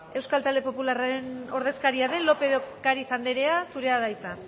euskal talde popularraren ordezkaria den lópez de ocariz anderea zurea da hitza